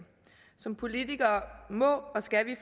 som politikere må og skal vi